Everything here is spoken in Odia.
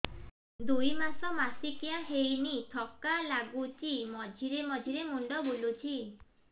ଦୁଇ ମାସ ମାସିକିଆ ହେଇନି ଥକା ଲାଗୁଚି ମଝିରେ ମଝିରେ ମୁଣ୍ଡ ବୁଲୁଛି